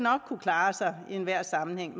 kunne klare sig i enhver sammenhæng